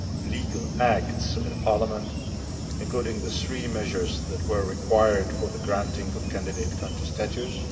legal acts in Parliament, including the three measures that were required for the granting of candidate country status.